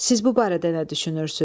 Siz bu barədə nə düşünürsünüz?